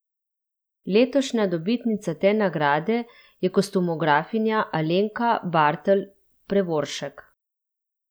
Letošnja dobitnica te nagrade je kostumografinja Alenka Bartl Prevoršek.